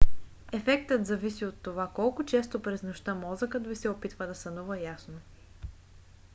ефектът зависи от това колко често през нощта мозъкът ви се опитва да сънува ясно